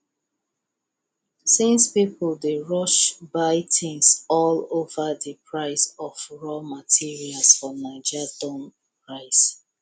since people dey rush buy things all over the price of raw materials for naija don rise